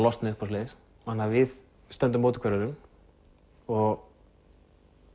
losna upp og svoleiðis þannig við stöndum á móti hvor öðrum og